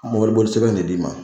Mɔbili boli sɛbɛɛn dil 'i ma.